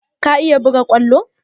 Ka iya buga kwallo?